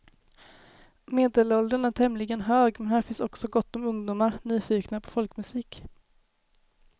Medelåldern är tämligen hög men här finns också gott om ungdomar, nyfikna på folkmusik.